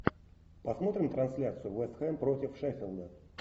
посмотрим трансляцию вест хэм против шеффилда